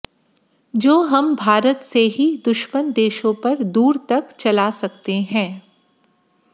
जो हम भारत से ही दुश्मन देशों पर दूर तक चला सकते हैं